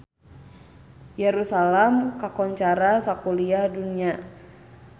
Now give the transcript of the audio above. Yerusalam kakoncara sakuliah dunya